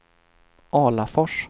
Alafors